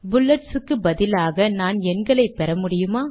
bullets க்கு பதிலாக நான் எண்களை பெற முடியுமா